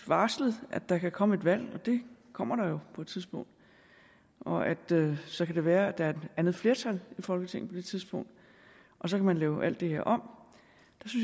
varslet at der kan komme et valg og det kommer der jo på et tidspunkt og at det så kan være at der er et andet flertal i folketinget på det tidspunkt og så kan man lave alt det her om